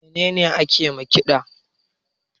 Me ne ne ake ma ƙida?